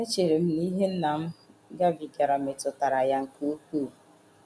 Echere m na ihe nna m gabigara metụtara ya nke ukwuu. ”